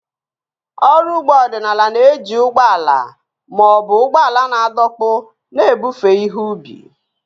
Ọrụ ugbo ọdịnala na-eji ụgbọ ala ma ọ bụ ụgbọala na-adọkpụ na-ebufe ihe ubi